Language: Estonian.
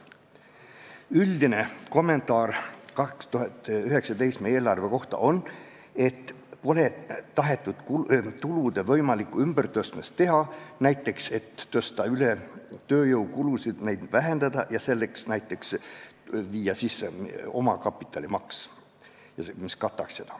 Üldine kommentaar 2019. aasta eelarve kohta on, et siin pole tahetud teha kulude ja tulude võimalikku ümbertõstmist, näiteks tõsta üle tööjõukulusid, neid vähendada ja viia sisse omakapitalimaks, mis seda kataks.